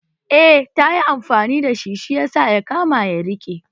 Eh tayi amfani da shi, shi yasa ya kama ya rike